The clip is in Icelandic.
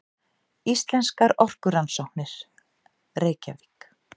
Íslenskar orkurannsóknir, Reykjavík.